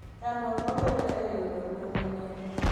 Chandruok mabedoe e yudo gwen manyien.